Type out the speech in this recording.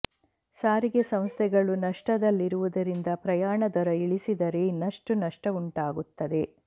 ಸಾರಿಗೆ ಸಂಸ್ಥೆಗಳು ನಷ್ಟದಲ್ಲಿರುವುದರಿಂದ ಪ್ರಯಾಣ ದರ ಇಳಿಸಿದರೆ ಇನ್ನಷ್ಟು ನಷ್ಟವುಂಟಾಗುತ್ತದೆ